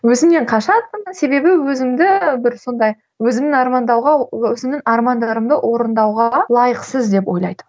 өзімнен қашатынмын себебі өзімді бір сондай өзімнің армандауға өзімнің армандарымды орындауға лайықсыз деп ойлайтынмын